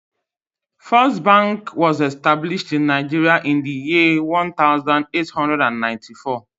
First bank was established in Nigeria in the year one thousand eight hundred and ninety four